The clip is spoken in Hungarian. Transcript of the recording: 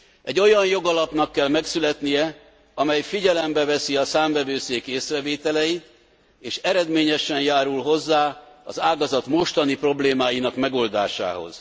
Egy olyan jogalapnak kell megszületnie, amely figyelembe veszi a Számvevőszék észrevételeit, és eredményesen járul hozzá az ágazat mostani problémáinak megoldásához.